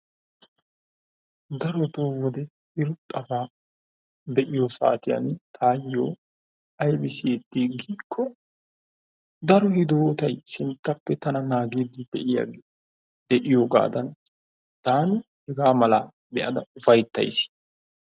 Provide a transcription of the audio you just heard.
Darotoo wode irxxaba be'iyo saatiyaan tayoo aybbi siyyeti giiko daro hidootay sinttappe tana naagidi de'iyoogadan taani hegaa malaa be'ada ufayttays.